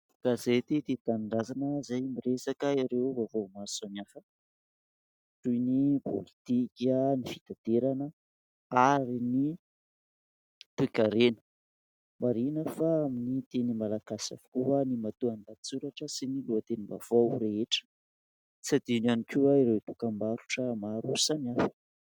Gazety Tia Tanindrazana izay miresaka ireo vaovao maro samihafa toy ny pôlitika, ny fitaterana ary ny toe-karena. Marihina fa amin'ny teny Malagasy avokoa ny matoan-dahatsoratra sy ny lohatenim-baovao rehetra. Tsy hadino ihany koa ireo dokam-barotra maro samihafa.